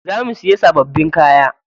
Za mu siya sababbin kaya.